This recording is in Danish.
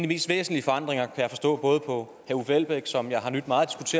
mest væsentlige forandringer jeg forstå både på herre uffe elbæk som jeg har nydt meget